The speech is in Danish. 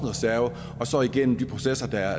jeg så igennem de processer der